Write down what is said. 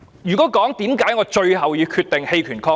為何我最後決定棄權抗議？